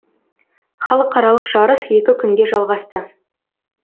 халықаралық жарыс екі күнге жалғасты